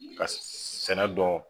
Ka sɛnɛ dɔn.